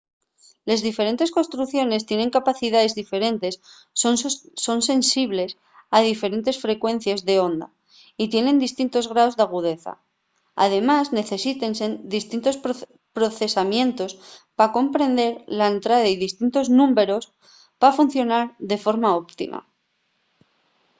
les diferentes construcciones tiene capacidaes diferentes son sensibles a diferentes frecuencies d’onda y tienen distintos graos d’agudeza. además necesiten distintos procesamientos pa comprender la entrada y distintos númberos pa funcionar de forma óptima